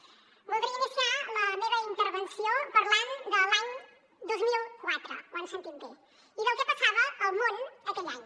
voldria iniciar la meva intervenció parlant de l’any dos mil quatre ho han sentit bé i del que passava al món aquell any